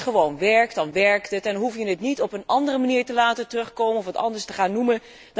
Als iets gewoon werkt, dan werkt het en hoef je het niet op een andere manier te laten terugkomen of het anders te gaan noemen.